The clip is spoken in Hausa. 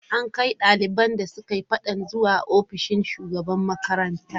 An kai daliban da suka yi fadan zuwa ofishin shugaban makarantar.